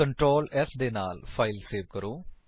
Ctrl s ਦੇ ਨਾਲ file save ਕਰੋ